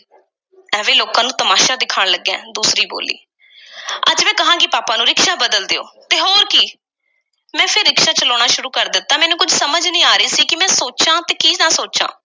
ਐਵੇਂ ਲੋਕਾਂ ਨੂੰ ਤਮਾਸ਼ਾ ਦਿਖਾਣ ਲੱਗਾ ਏਂ, ਦੂਸਰੀ ਬੋਲੀ। ਅੱਜ ਮੈਂ ਕਹਾਂਗੀ ਪਾਪਾ ਨੂੰ, ਰਿਕਸ਼ਾ ਬਦਲ ਦਿਓ। ਤੇ ਹੋਰ ਕੀ ਮੈਂ ਫੇਰ ਰਿਕਸ਼ਾ ਚਲਾਉਣਾ ਸ਼ੁਰੂ ਕਰ ਦਿੱਤਾ। ਮੈਨੂੰ ਕੁਝ ਸਮਝ ਨਹੀਂ ਸੀ ਆ ਰਹੀ ਕਿ ਮੈਂ ਕੀ ਸੋਚਾਂ ਤੇ ਕੀ ਨਾ ਸੋਚਾਂ,